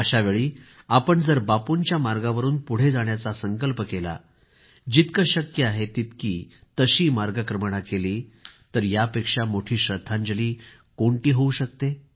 अशावेळी आपण जर बापूंच्या मार्गावरून पुढे जाण्याचा संकल्प केला जितकं शक्य आहे तितकी तशी मार्गक्रमणा केली तर यापेक्षा मोठी श्रद्धांजली कोणती होवू शकते